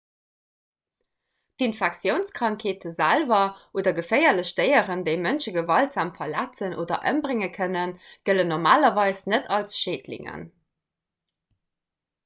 infektiounskrankheete selwer oder geféierlech déieren déi mënsche gewaltsam verletzen oder ëmbrénge kënnen gëllen normalerweis net als schädlingen